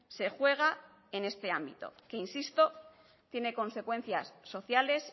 se juega en este ámbito que insisto tiene consecuencias sociales